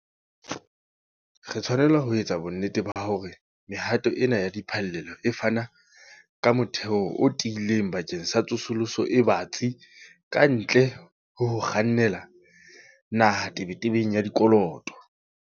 Re tshwanela ho etsa bonnete ba hore mehato ena ya diphallelo e fana ka motheo o tiileng bakeng sa tsosoloso e batsi kantle ho ho kgannela naha tebetebeng ya dikoloto.